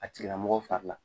A tigilamɔgɔ fari la